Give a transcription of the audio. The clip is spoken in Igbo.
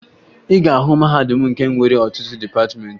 Ị ga-ahụ mahadum ndị nwere ọtụtụ dịpatịmeentị